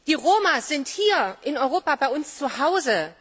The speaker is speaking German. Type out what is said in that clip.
Die Roma sind hier in Europa bei uns zuhause!